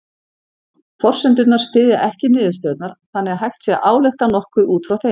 Forsendurnar styðja ekki niðurstöðurnar þannig að hægt sé að álykta nokkuð út frá þeim.